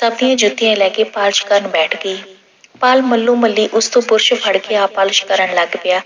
ਸਭ ਦੀਆਂ ਜੁੱਤੀਆਂ ਲੈ ਕੇ polish ਕਰਨ ਬੈਠ ਗਈ। ਪਾਲ ਮੱਲੋ-ਮੱਲੀ ਉਸਤੋਂ brush ਫੜ ਕੇ ਆਪ polish ਕਰਨ ਲੱਗ ਪਿਆ।